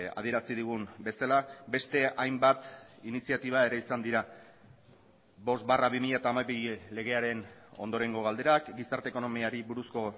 adierazi digun bezala beste hainbat iniziatiba ere izan dira bost barra bi mila hamabi legearen ondorengo galderak gizarte ekonomiari buruzko